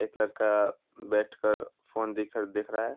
एक लड़का बैठ कर फ़ोन दिख देख रहा है ।